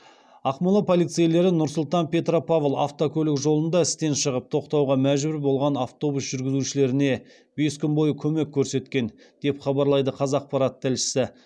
ақмола полицейлері нұр сұлтан петропавл автокөлік жолында істен шығып тоқтауға мәжбүр болған автобус жүргізушілеріне бес күн бойы көмек көрсеткен деп хабарлайды қазақпарат тілшісі